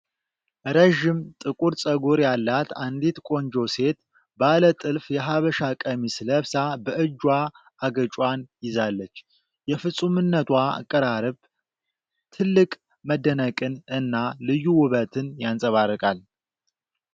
ረዥም ጥቁር ፀጉር ያላት አንዲት ቆንጆ ሴት ባለ ጥልፍ የሐበሻ ቀሚስ ለብሳ በእጇ አገጯን ይዛለች። የፍፁምነቷ አቀራረብ ጥልቅ መደነቅን እና ልዩ ውበትን ያንጸባርቃል።